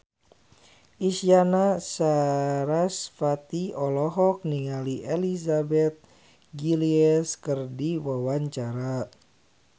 Isyana Sarasvati olohok ningali Elizabeth Gillies keur diwawancara